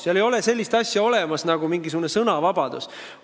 Seal ei ole olemas sellist asja nagu sõnavabadus.